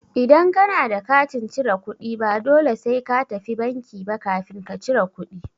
Idan ka na da katin cire kuɗi, ba dole sai ka tafi banki ba kafin ka cire kuɗi.